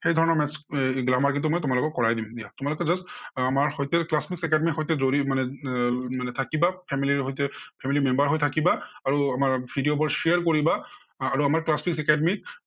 সেই ধৰণৰ maths আহ grammar কিন্তু মই তোমালোকক কৰাই দিম দিয়া। তোমালোকে just আহ আমাৰ সৈতে class best academy সৈতে আহ এৰ থাকিবা family ৰ সৈতে family ৰ member হৈ থাকিবা। আৰু আমাৰ video বোৰ share কৰিবা আহ আৰু আমাৰ class best academy ৰ